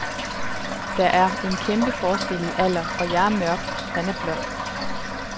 Der er er kæmpe forskel i alder, og jeg er mørk, han er blond.